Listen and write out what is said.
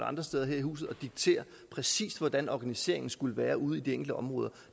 andre steder her i huset præcis hvordan organiseringen skulle være ude i de enkelte områder